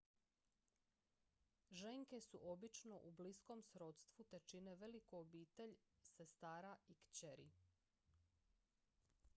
ženke su obično u bliskom srodstvu te čine veliku obitelj sestara i kćeri